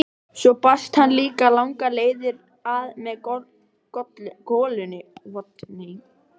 Svo barst hann líka langar leiðir að með golunni.